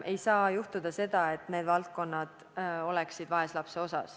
Ei tohi juhtuda, et need valdkonnad jäävad vaeslapse ossa.